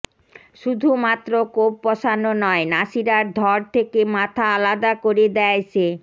শুধুমাত্র কোপ বসানো নয় নাসিরার ধর থেকে মাথা আলাদা করে দেয় সে